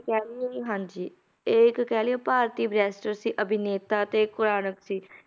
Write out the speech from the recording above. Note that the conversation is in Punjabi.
ਕਹਿ ਲਈਏ ਵੀ ਹਾਂਜੀ, ਇਹ ਇੱਕ ਕਹਿ ਲਈਏ ਭਾਰਤੀ barrister ਸੀ, ਅਭਿਨੇਤਾ ਤੇ ਕੁਰਾਨਕ ਸੀ